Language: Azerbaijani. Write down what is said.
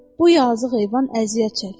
Bu yazıq heyvan əziyyət çəkir.